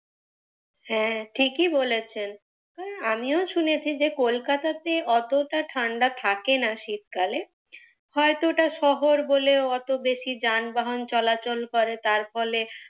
হ্যাঁ ঠিকই বলেছেন, আমিও শুনেছি যে কলকাতাতে অতটা ঠাণ্ডা থাকে না শীতকালে, হয়ত ওটা শহর বলে অত বেশী যান বাহন চলাচল করে তার ফলে,